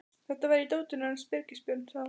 Þetta var í dótinu hans Birgis Björns, sagði hún.